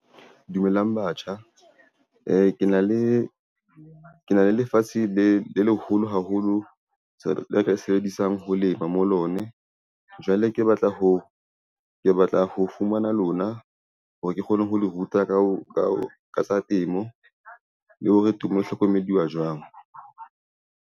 Dumelang batjha e, ke na le lefatshe le leholo haholo, le ka sebedisang ho lema mo lone. Jwale ke batla ho fumana lona hore ke kgone ho le ruta ka tsa temo, le hore temo e hlokomediwa jwang.